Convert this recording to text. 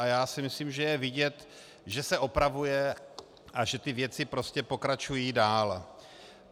A já si myslím, že je vidět, že se opravuje a že ty věci prostě pokračují dále.